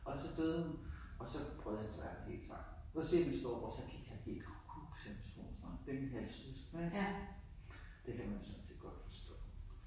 Og så døde hun og så brød hans verden helt sammen. Så siger min storebror så gik han helt kukkuk siger han om vores far det mine halvsøskende ik og det kan man sådan set godt forstå